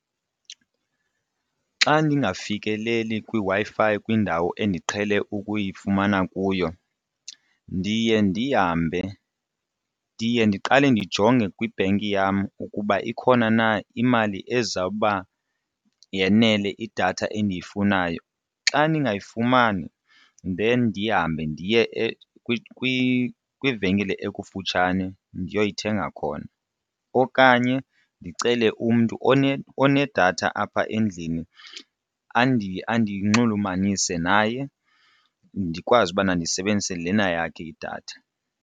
Xa ndingafikeleli kwiWi-Fi kwindawo endiqhele ukuyifumana kuyo ndiye ndihambe ndiye ndiqale ndijonge kwibhenki yam ukuba ikhona na imali ezawuba yanele idatha endiyifunayo. Xa ningayifumani then ndihambe ndiye kwivenkile ekufutshane ndiyoyithenga khona. Okanye ndicele umntu onedatha apha endlini andinxulumanise naye ndikwazi ubana ndisebenzise lena yakhe idatha.